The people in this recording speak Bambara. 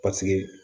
Paseke